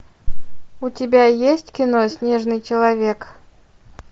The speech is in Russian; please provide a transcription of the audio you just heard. у тебя есть кино снежный человек